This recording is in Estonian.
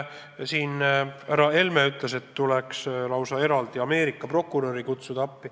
Härra Helme ütles, et tuleks lausa Ameerika prokurör appi kutsuda.